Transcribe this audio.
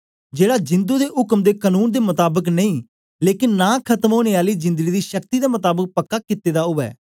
जेड़ा जिंदु दे उक्म दे कनून दे मताबक नेई लेकन नां खत्म ओनें आली जिंदड़ी दी शक्ति दे मताबक पक्का कित्ता दा उवै